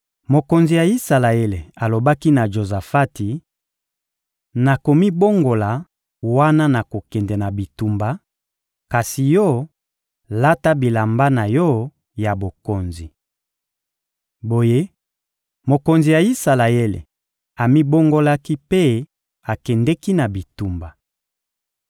Mokonzi ya Isalaele alobaki na Jozafati: — Nakomibongola wana nakokende na bitumba; kasi yo, lata bilamba na yo ya bokonzi. Boye, mokonzi ya Isalaele amibongolaki mpe akendeki na bitumba.